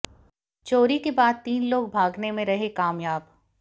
चोरी के बाद तीन लोग भागने में रहे कामयाब